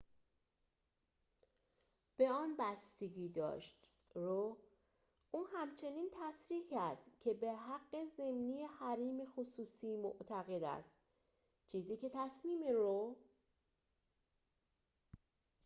او همچنین تصریح کرد که به حق ضمنی حریم خصوصی معتقد است، چیزی که تصمیم «رو» roe به آن بستگی داشت